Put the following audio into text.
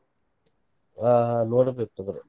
ಹಾ ನೋಡಬೇಕ್ ತೂಗೋರಿ.